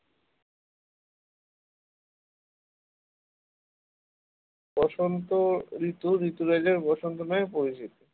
বসন্ত ঋতু ঋতুরাজ বসন্ত নামে পরিচিত